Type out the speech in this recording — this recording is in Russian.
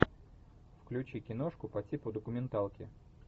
включи киношку по типу документалки